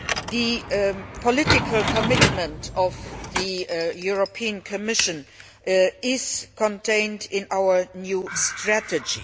The political commitment of the European Commission is contained in our new strategy.